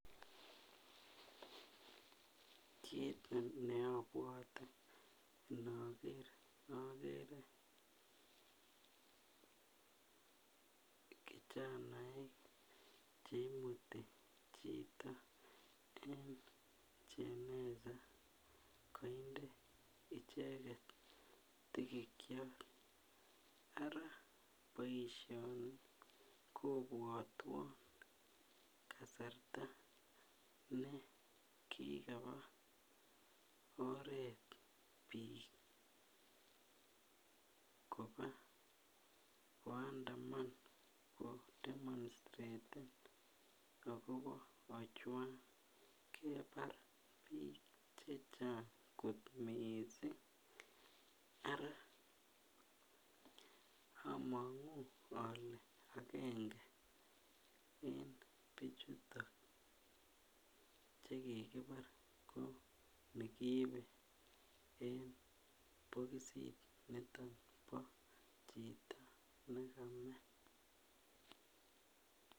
Kit neobwote ndoger ogere kijanaek che imuti chito [ jeneza] koinde icheket tigikyot ara boisioni kobwotwon kasarta ne kigaba oret bik koba koandaman kodemonstraten agobo Ojwang kebar bik chechang kot mising ara omongu ole agenge eng bichuton chekikibar ko nekiibe eng bokisit niton bo chito nekame.